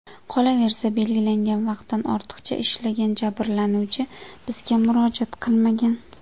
Qolaversa, belgilangan vaqtdan ortiqcha ishlagan jabrlanuvchi bizga murojaat qilmagan.